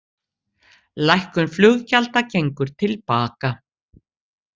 Lækkun flugfargjalda gengur til baka